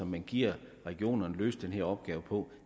man giver regionerne løse den opgave på